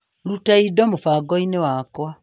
Ruta indo mũbango-inĩ wakwa.